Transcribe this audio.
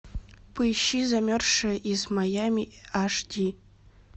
поищи замерзшая из майами аш ди